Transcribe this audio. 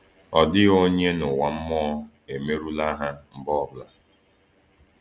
Ọ dịghị onye n’ụwa mmụọ emerụla ha mgbe ọ bụla.